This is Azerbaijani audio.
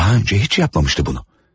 Daha öncə heç etməmişdi bunu.